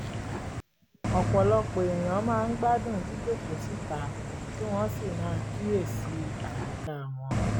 ọ̀pọ̀lọpọ̀ èèyàn máa ń gbádùn jíjókòó síta kí wọ́n sì máa kíyèsí àyíká wọn